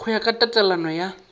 go ya ka tatelano ya